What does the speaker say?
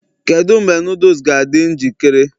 kedu mgbe noodles ga-adị njikere?